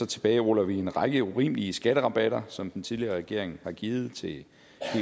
tilbageruller vi en række urimelige skatterabatter som den tidligere regering har givet til helt